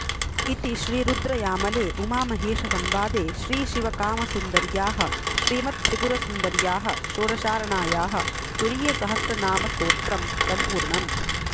इति श्रीरुद्रयामले उमामहेशसंवादे श्रीशिवकामसुन्दर्याः श्रीमत्त्रिपुरसुन्दर्याः षोडशार्णायाः तुरीयसहस्रनामस्तोत्रं सम्पूर्णम्